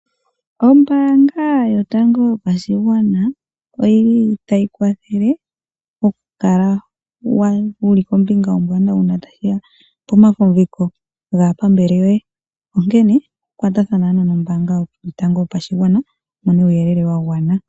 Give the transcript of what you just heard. Ombaanga yotango yopashigwana oyili tashi kwathele oku kla wuli kombinga ombwanawa una tashiya pomafumbiko gaapambele yoye, onkene kwatathana ano nombaanga yotango yopashigwana wu mone uuyelele wa gwana.